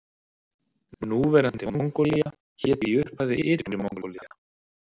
Núverandi Mongólía hét í upphafi Ytri Mongólía.